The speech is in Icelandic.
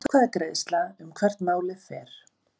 Atkvæðagreiðsla um hvert málið fer